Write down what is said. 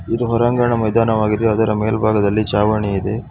ಇದು ಹೊರಾಂಗಣ ಮೈದಾನವಾಗಿದೆ ಅದರ ಮೇಲಭಾಗದಲ್ಲಿ ಛಾವಣಿ ಇದೆ.